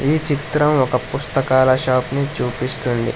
ఈ చిత్రం ఒక పుస్తకాల షాప్ ని చూపిస్తుంది